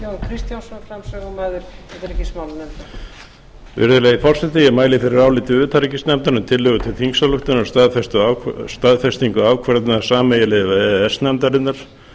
virðulegi forseti virðulegi forseti ég mæli fyrir áliti utanríkisnefndar um tillögu til þingsályktunar um staðfestingu ákvörðunar sameiginlegu e e s nefndarinnar